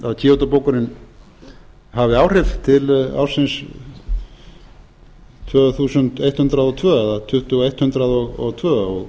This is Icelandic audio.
kyoto bókunin hafi áhrif til ársins tvö þúsund hundrað og tvö eða tuttugu þúsund hundrað og tvö